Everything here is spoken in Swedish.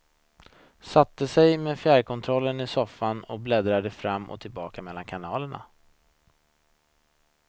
Satte sig med fjärrkontrollen i soffan och bläddrade fram och tillbaka mellan kanalerna.